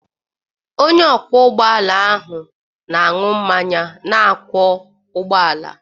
Onye ọkwọ ụgbọ ala na-aṅụ mmanya na-akwọ ụgbọala